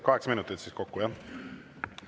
Kaheksa minutit kokku, jah?